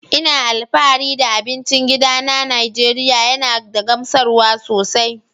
Ina alfahari da abincin gida na Najeriya yana da gamsarwa sosai.